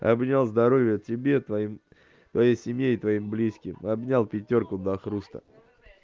обнял здоровья тебе твоим твоей семье и твоим близким обнял пятёрку до хруста